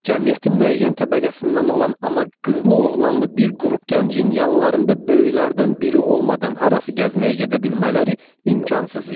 Cəmiyyətin müəyyən təbəqəsindən olan amma qızlı-oğlanlı bir qrup gəncin yanlarında böyüklərdən biri olmadan harasa gəzməyə gedə bilmələri imkansız idi.